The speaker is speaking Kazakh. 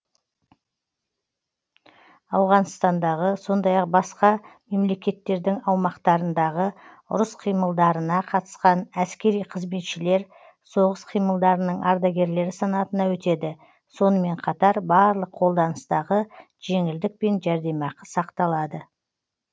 ауғанстандағы сондай ақ басқа мемлекеттердің аумақтарындағы ұрыс қимылдарына қатысқан әскери қызметшілер соғыс қимылдарының ардагерлері санатына өтеді сонымен қатар барлық қолданыстағы жеңілдік пен жәрдемақы сақталады